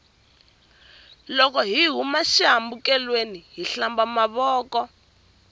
loko hi huma xi hambekelweni hi hlamba mavoko